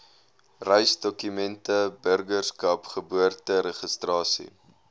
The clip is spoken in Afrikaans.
reisdokumente burgerskap geboorteregistrasie